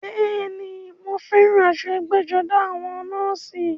Bẹ́ẹ̀ni, mọ fẹ́ràn aṣọ ẹgbẹ́-jọdá àwọn nọ́ọ̀sì.